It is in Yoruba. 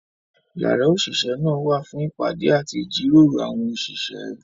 Yàrá òṣìṣẹ́ náà wà fún ìpàdé àti ìjíròrò àwọn òṣìṣẹ́.